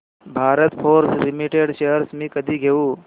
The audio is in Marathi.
भारत फोर्ज लिमिटेड शेअर्स मी कधी घेऊ